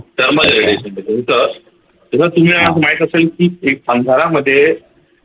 thermalradiation तुम्ही आज माहित असेल की एक अंधारामध्ये